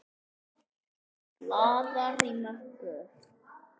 Blaðar í möppu.